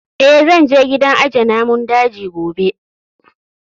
Eh, zan je gidan aje namun daji gobe